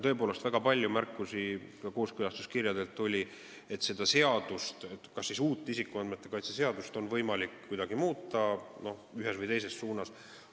Tõepoolest, väga palju märkusi oli ka kooskõlastuskirjades, et kas uut isikuandmete kaitse seadust oleks võimalik kuidagi ühes või teises suunas muuta.